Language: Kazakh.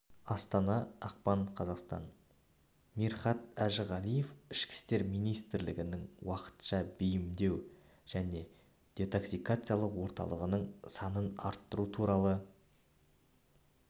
астана ақпан қаз мирхат әжіғалиев ішкі істер министрлігінің уақытша бейімдеу және детоксикациялау орталықтарының санын арттыру туралы